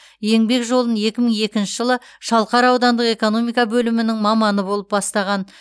еңбек жолын екі мың екінші жылы шалқар аудандық экономика бөлімінің маманы болып бастаған